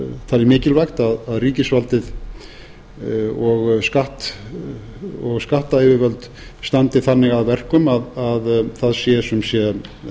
talið mikilvægt að ríkisvaldið og skattayfirvöld standi þannig að verkum að það sé sumsé